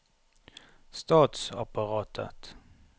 statsapparatet